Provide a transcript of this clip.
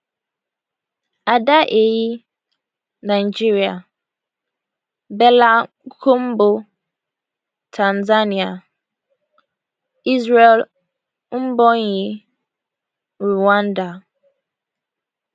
ada ehi nigeria bella kombo tanzania israel mbonyi rwanda